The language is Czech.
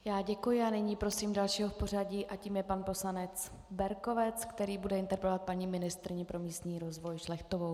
Já děkuji a nyní prosím dalšího v pořadí a tím je pan poslanec Berkovec, který bude interpretovat paní ministryni pro místní rozvoj Šlechtovou.